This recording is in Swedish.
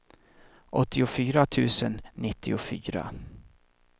åttiofyra tusen nittiofyra